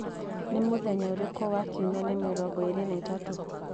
Nĩ mũthenya ũrĩkũ wa kiumia ni mĩrongo ĩĩrĩ na tatu